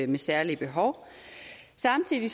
med særlige behov samtidig